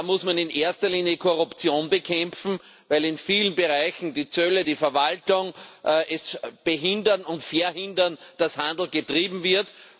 Da muss man in erster Linie Korruption bekämpfen, weil in vielen Bereichen die Zölle, die Verwaltung es behindern und verhindern, dass Handel getrieben wird.